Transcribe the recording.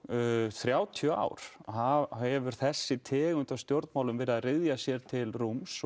þrjátíu ár hefur þessi tegund stjórnmála verið að ryðja sér til rúms